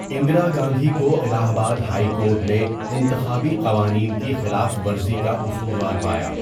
اندرا گاندھی کو Allahabad high court نے انتخابی قوانین کی خلاف ورزی کا قصوروار پایا۔